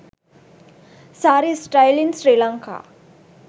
saree style in srilanka